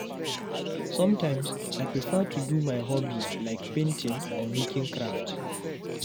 Sometimes, I prefer to do my hobby, like painting or making craft.